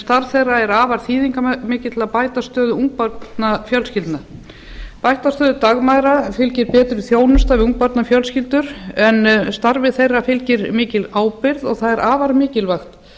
starf þeirra er afar þýðingarmikið til að bæta stöðu ungbarnafjölskyldna bættri stöðu dagmæðra fylgir betri þjónusta við ungbarnafjölskyldur en starfi þeirra fylgir mikil ábyrgð og það er afar mikilvægt